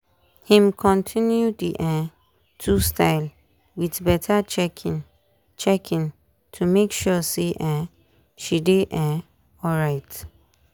him continue the um two style with better checking checking to make sure say um e dey um alright.